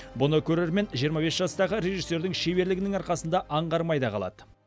бұны көрермен жиырма бес жастағы режиссердің шеберлігінің арқасында аңғармай да қалады